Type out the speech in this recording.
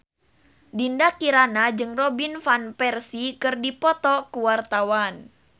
Dinda Kirana jeung Robin Van Persie keur dipoto ku wartawan